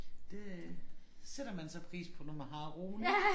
Det sætter man så pris på når man har roen ik